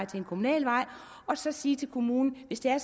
til en kommunalvej og så sige til kommunen hvis det er